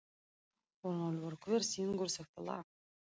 Örnólfur, hver syngur þetta lag?